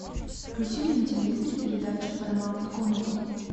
включи мне на телевизоре передачу парамаунт комеди